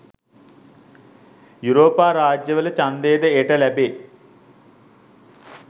යුරෝපා රාජ්‍යවල ඡන්දය ද එයට ලැබේ